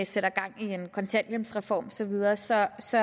sætter gang i en kontanthjælpsreform og så videre så så